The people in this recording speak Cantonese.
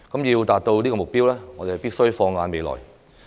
要達到這個目標，我們必須放眼未來。